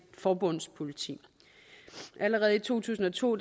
forbundspoliti allerede i to tusind og to